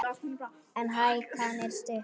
En hækan er stutt.